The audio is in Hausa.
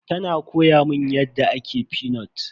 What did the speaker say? Tana koya mun yadda ake fenut.